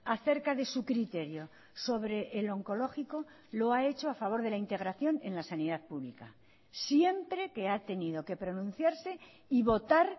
acerca de su criterio sobre el oncológico lo ha hecho a favor de la integración en la sanidad pública siempre que ha tenido que pronunciarse y votar